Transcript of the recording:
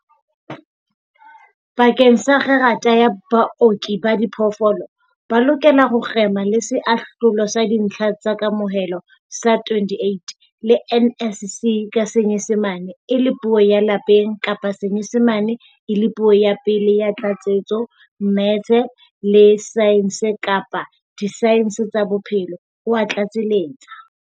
Bakeng sa kgerata ya Booki ba Diphoofolo, ba lokela ho kgema le Seahlolo sa Dintlha tsa Kamohelo sa 28 le NSC ka Senyesemane e le puo ya Lapeng kapa Senyesemane e le puo ya pele ya tlatsetso, mmetse, le saense kapa disaense tsa bophelo, o a tlatseletsa.